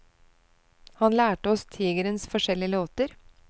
Han lærte oss tigerens forskjellige låter.